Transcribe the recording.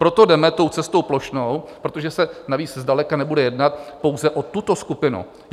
Proto jdeme tou cestou plošnou, protože se navíc zdaleka nebude jednat pouze o tuto skupinu.